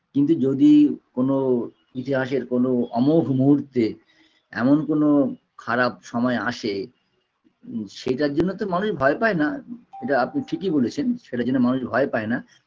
কিন্তু যদি কোনো ইতিহাসের কোনো অমোঘ মূহুর্তে এমন কোনো খারাপ সময় আসে সেটার জন্য তো মানুষ ভয় পায় না এটা আপনি ঠিকই বলেছেন সেটার জন্য মানুষ ভয় পায় না